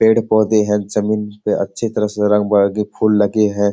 पेड़-पौधे है जमीन पे अच्छी तरह से रंग-बिरंगे फूल लगे हैं।